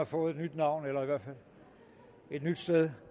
fået et nyt navn eller i hvert fald et nyt sted